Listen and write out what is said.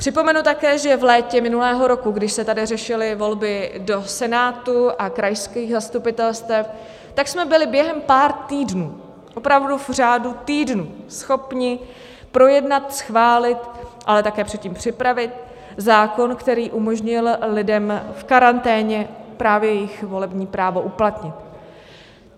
Připomenu také, že v létě minulého roku, když se tady řešily volby do Senátu a krajských zastupitelstev, tak jsme byli během pár týdnů, opravdu v řádu týdnů schopni projednat, schválit, ale také předtím připravit zákon, který umožnil lidem v karanténě právě jejich volební právo uplatnit.